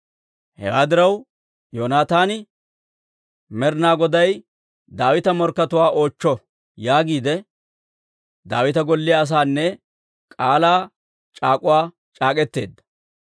Hewaa diraw, Yoonataani, «Med'inaa Goday Daawita morkkatuwaa oochcho» yaagiide Daawita golliyaa asaana k'aalaa c'aak'uwaa c'aak'k'eteedda.